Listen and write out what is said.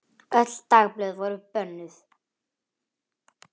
Öll dagblöð voru bönnuð.